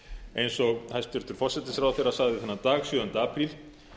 eins og hæstvirtur forsætisráðherra sagði þennan dag sjöunda apríl